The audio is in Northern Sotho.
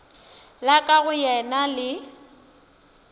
la ka go yena le